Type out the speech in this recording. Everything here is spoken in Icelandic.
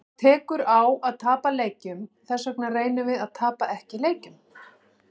Það tekur á að tapa leikjum, þessvegna reynum við að tapa ekki leikjum.